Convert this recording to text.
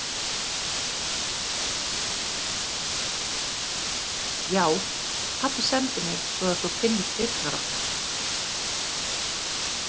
Já, pabbi sendi mig svo að þú finnir dyrnar okkar.